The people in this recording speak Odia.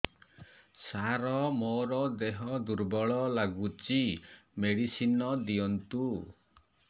ସାର ମୋର ଦେହ ଦୁର୍ବଳ ଲାଗୁଚି ମେଡିସିନ ଦିଅନ୍ତୁ